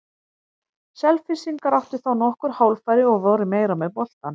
Selfyssingar áttu þá nokkur hálffæri og voru meira með boltann.